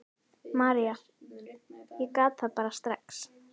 María: Ég gat það bara strax.